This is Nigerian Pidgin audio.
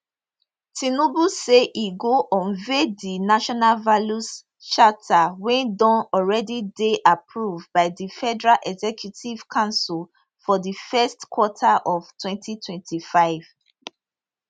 tinubu say e go unveil di national values charter wey don already dey approved by di federal executive council for di first quarter of 2025